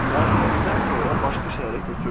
Məzuniyyətdən sonra başqa şəhərə köçürdüm.